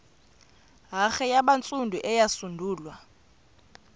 hare yabantsundu eyasungulwa